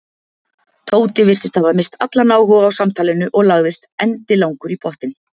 Tóti virtist hafa misst allan áhuga á samtalinu og lagðist endilangur í pottinn.